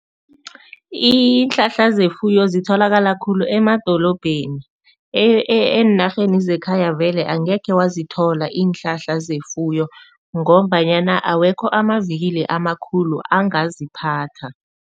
Iinhlahla zefuyo zitholakala khulu emadolobheni eenarheni zekhaya vele angekhe wazithola iinhlahla zefuyo ngombanyana awekho amavikili amakhulu angaziphatha.